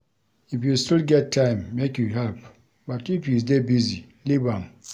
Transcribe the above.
If you still get time, make you help but if you dey busy, leave am.